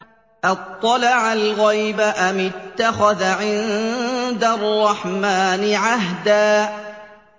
أَطَّلَعَ الْغَيْبَ أَمِ اتَّخَذَ عِندَ الرَّحْمَٰنِ عَهْدًا